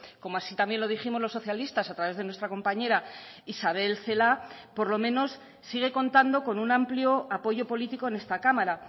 como así también lo dijimos los socialistas a través de nuestra compañera isabel celaá por lo menos sigue contando con un amplio apoyo político en esta cámara